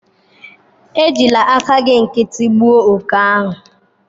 Ejila áká gị nkịtị gbuo òké ahụ.